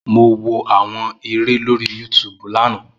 Mo wo àwọn eré lórí yútúbú lánàá.